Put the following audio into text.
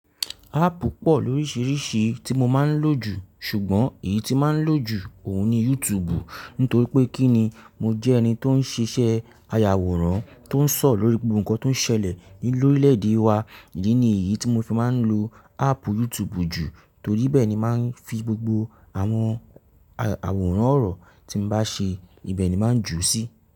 Ápp pọ̀ lóríṣiríṣi tí mo máa ń lò jù, ṣùgbọ́n èyí tí máa ń lò jù ọ̀ún ni YouTube. Nítorí pé kí ni, mo jẹ́ ẹni tó ń ṣiṣẹ́ ayàwòrán, tó ń sọ̀rọ̀ lórí gbogbo nǹkan tó ń ṣẹlẹ̀ lórílẹ̀ èdè wa. Ìdí ni èyí tí mo fi máa ń lo ápp YouTube jù, torí ibẹ ni màá ń fi gbogbo àwọn àwòrán ọ̀rọ̀ tí mo bá ṣe ibẹ̀ ni màá ń jù sí.